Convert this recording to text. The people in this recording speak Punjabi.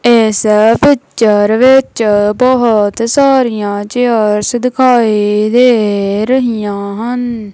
ਇੱਸ ਪਿੱਚਰ ਵਿੱਚ ਬਹੁਤ ਸਾਰੀਆਂ ਚੇਅਰਸ ਦਿਖਾਈ ਦੇ ਰਹੀਆਂ ਹਨ।